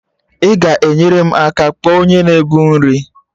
Ị ga-enyere m aka kpọọ onye na-ebu nri?